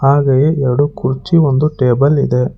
ಹಾಗೆಯೇ ಎರಡು ಕುರ್ಚಿ ಒಂದು ಟೇಬಲ್ ಇದೆ.